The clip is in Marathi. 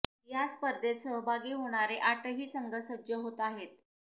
या स्पर्धेत सहभागी होणारे आठही संघ सज्ज होत आहेत